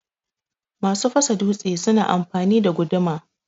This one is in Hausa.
Masu fasa dutse suna amfani da guduma.